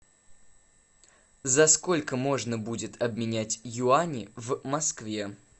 за сколько можно будет обменять юани в москве